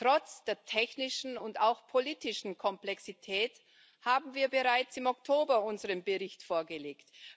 Trotz der technischen und auch politischen Komplexität haben wir bereits im Oktober unseren Bericht vorgelegt.